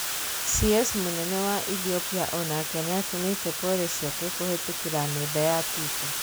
Cs munene wa Ethiopia onake niatũmite pole ciake kuhitukira nenda ya Twitter.